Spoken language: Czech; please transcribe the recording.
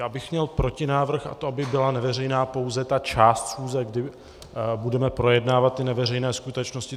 Já bych měl protinávrh, a to, aby byla neveřejná pouze ta část schůze, kdy budeme projednávat ty neveřejné skutečnosti.